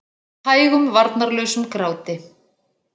Hægum varnarlausum gráti.